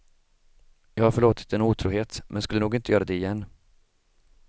Jag har förlåtit en otrohet men skulle nog inte göra det igen.